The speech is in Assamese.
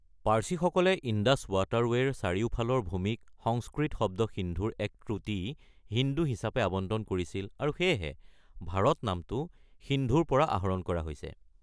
পাৰ্চীসকলে ইণ্ডাছ ৱাটাৰৱে'ৰ চাৰিওফালৰ ভূমিক সংস্কৃত শব্দ সিন্ধুৰ এক ত্ৰুটি, হিন্দু হিচাপে আৱণ্টন কৰিছিল আৰু সেয়েহে ভাৰত নামটো সিন্ধুৰ পৰা আহৰণ কৰা হৈছে।